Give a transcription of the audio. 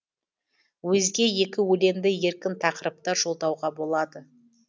өзге екі өлеңді еркін тақырыпта жолдауға болады